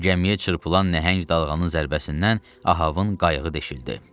Gəmiyə çırpılan nəhəng dalğanın zərbəsindən Ahavın qayığı deşildi.